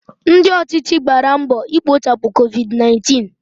Ndị ọchịchị gbàrà mbọ ikochapu Covid 19